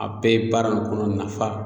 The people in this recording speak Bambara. A bɛɛ ye baara in kɔnɔ nafa